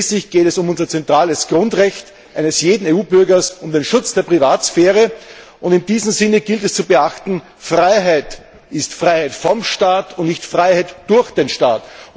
Schließlich geht es um das zentrale Grundrecht eines jeden EU Bürgers, um den Schutz der Privatsphäre, und in diesem Sinne gilt es zu beachten Freiheit ist Freiheit vom Staat und nicht Freiheit durch den Staat.